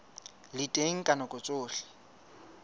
le teng ka nako tsohle